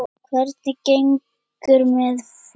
Hvernig gengur með féð?